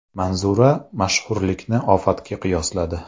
Manzura mashhurlikni ofatga qiyosladi.